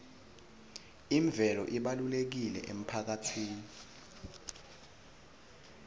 imvelo ibalulekile emphakatsini